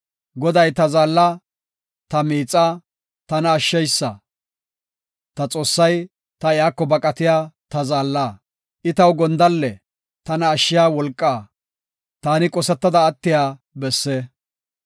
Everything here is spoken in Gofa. Goday ta zaalla; ta miixa; tana ashsheysa; ta Xoossay ta iyako baqatiya ta zaalla. I taw gondalle; tana ashshiya wolqa; taani qosetada attiya besse.